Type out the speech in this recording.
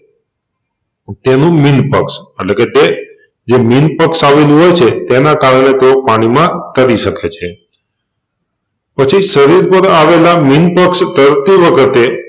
પેલું મીનપક્ષ અટલેકે તેજે મીનપક્ષ આવેલું હોય છે એના કારણે તેઓ પાણીમાં તારી સકે છે પછી શરીર ઉપર આવેલા મીનપક્ષ તરતી વખતે